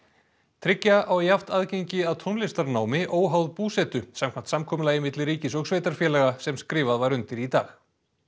tryggja á jafnt aðgengi að tónlistarnámi óháð búsetu samkvæmt samkomulagi milli ríkis og sveitarfélaga sem skrifað var undir í dag